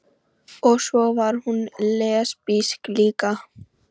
Og svo var hún lesbísk líka.